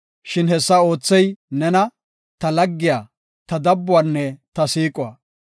Shin hessa oothey nena, ta laggiya; ta dabbuwanne ta siiquwa.